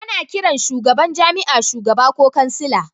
Ana kiran shugaban jami'a shugaba ko kansila